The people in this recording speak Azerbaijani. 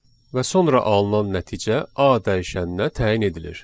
və sonra alınan nəticə A dəyişəninə təyin edilir.